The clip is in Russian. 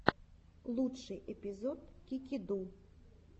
лучший эпизод кики ду